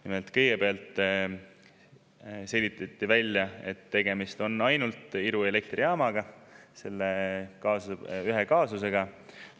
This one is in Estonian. Nimelt, kõigepealt selgitati välja, et tegemist on ainult Iru elektrijaamaga, selle ühe kaasusega,